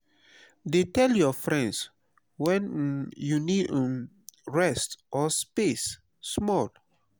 dey tell your friends when um you need um rest or space small.